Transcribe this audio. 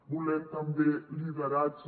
volem també lideratge